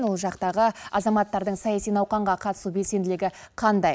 ол жақтағы азаматтардың саяси науқанға қатысу белсенділігі қандай